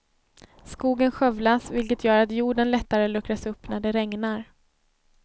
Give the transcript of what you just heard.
Skogen skövlas vilket gör att jorden lättare luckras upp när det regnar.